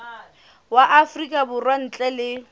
wa afrika borwa ntle le